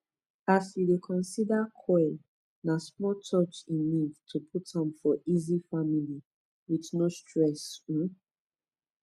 as u dey consider coil na small touch e need to put am for easy family with no stress um